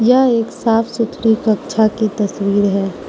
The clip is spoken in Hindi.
यह एक साफ सुथरी कक्षा की तस्वीर है।